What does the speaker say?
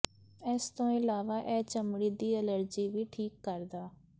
ਇਸ ਤੋਂ ਇਲਾਵਾ ਇਹ ਚਮੜੀ ਦੀ ਅਲਰਜੀ ਵੀ ਠੀਕ ਕਰਦਾ